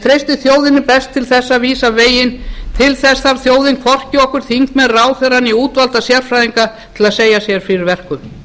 treysti þjóðinni best til að vísa veginn til þess þarf þjóðin hvorki okkur þingmenn ráðherra né útvalda sérfræðinga til að segja sér fyrir verkum